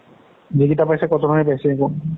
যিকেইটা পাইছে কতনৰে পাইছে আকৌ